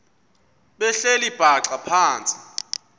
behleli bhaxa phantsi